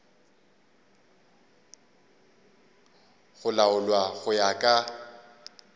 go laolwa go ya ka